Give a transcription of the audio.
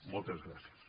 moltes gràcies